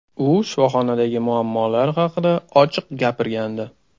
U shifoxonadagi muammolar haqida ochiq gapirgandi.